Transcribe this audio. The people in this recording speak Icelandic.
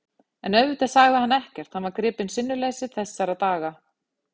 En auðvitað sagði hann ekkert, hann var gripinn sinnuleysi þessara daga.